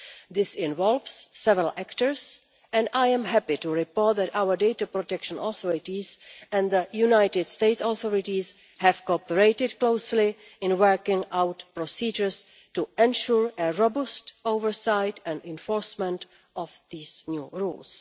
This involves several actors, and I am happy to report that our data protection authorities and the United States authorities have cooperated closely in working out procedures to ensure a robust oversight and enforcement of these new rules.